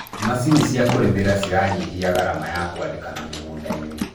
macinĩ cia kũrĩmira ciranyihia garama ya kuandikana mĩgũnda-inĩ